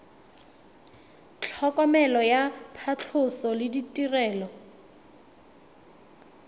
tlhokomelo ya phatlhoso le ditirelo